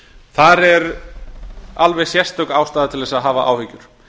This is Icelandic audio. þar er alveg sérstök ástæða til að hafa áhyggjur